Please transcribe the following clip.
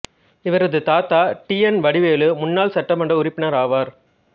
இவரது தாத்தா T N Vadivelu முன்னாள் சட்டமன்ற உறுப்பினர் ஆவார்